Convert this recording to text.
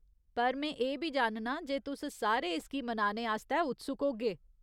पर में एह् बी जाननां जे तुस सारे इसगी मनाने आस्तै उत्सुक होगे।